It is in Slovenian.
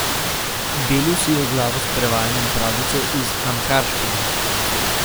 Belil si je glavo s prevajanjem pravljice iz amharščine.